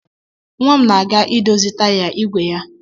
Nwa m na-aga idozi taya ìgwè ya